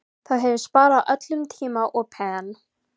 Það hefði sparað öllum tíma og pen